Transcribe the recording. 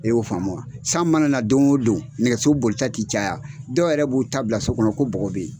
E y'o faamu wa, san mana don o don nɛgɛso boli tɛ caya dɔw yɛrɛ b'u ta bila so kɔnɔ ko bɔgɔ bɛ yen.